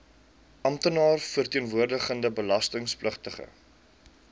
amptenaar verteenwoordigende belastingpligtige